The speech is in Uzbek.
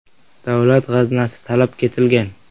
“Davlat g‘aznasi talab ketilgan.